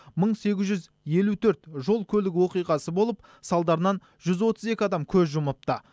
мың сегіз жүз елу төрт жол көлік оқиғасы болып салдарынан жүз отыз екі адам көз жұмыпты